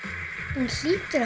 hún hlýtur